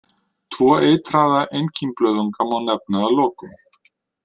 Tvo eitraða einkímblöðunga má nefna að lokum.